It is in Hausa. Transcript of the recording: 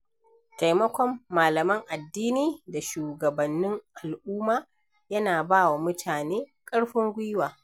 Taimakon malaman addini da shugabannin al’umma yana ba wa mutane ƙarfin gwiwa.